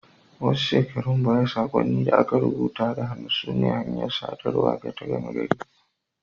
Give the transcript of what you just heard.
Wasu shekaru baya, saƙonnin da aka rubuta da hannu sune hanyar sadarwa ta gama gari.